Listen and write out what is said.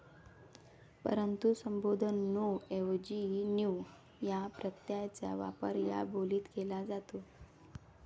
परंतु संबोधन ''नो' ऐवजी 'न्यू' या प्रत्ययाचा वापर या बोलीत केला जातो.